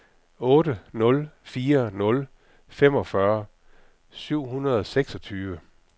otte nul fire nul femogfyrre syv hundrede og seksogtyve